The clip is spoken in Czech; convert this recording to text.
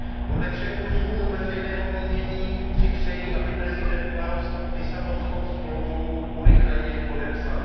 Podle všech průzkumů veřejného mínění si přejí, aby prezident Klaus Lisabonskou smlouvu urychleně podepsal.